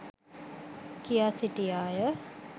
කියා සිටියාය.